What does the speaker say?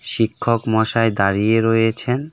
শিক্ষক মশাই দাঁড়িয়ে রয়েছেন .